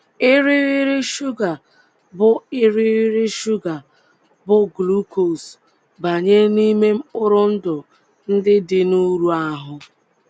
irighiri shuga bụ́ irighiri shuga bụ́ glucose banye n’ime mkpụrụ ndụ ndị dị n’uru ahụ́